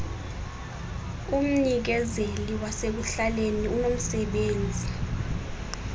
umnikezeli wasekuhlaleni unomsebenzi